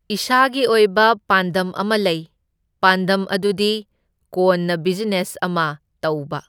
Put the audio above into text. ꯏꯁꯥꯒꯤ ꯑꯣꯏꯕ ꯄꯥꯟꯗꯝ ꯑꯃ ꯂꯩ, ꯄꯥꯟꯗꯝ ꯑꯗꯨꯗꯤ ꯀꯣꯟꯅ ꯕꯤꯖꯤꯅꯦꯁ ꯑꯃ ꯇꯧꯕ꯫